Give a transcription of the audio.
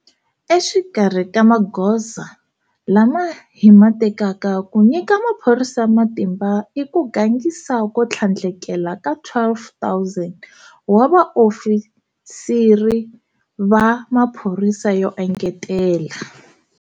Exikarhi ka magoza lama hi ma tekaka ku nyika maphorisa matimba i ku gangisa ko tlhandlekela ka 12 000 wa vaofisiri va maphorisa yo engetela.